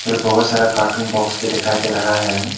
फिर बहुत सारा कार्टून बॉक्स भी दिखाई दे रहा है।